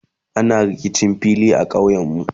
ana rikicin fili a ƙauyen. mu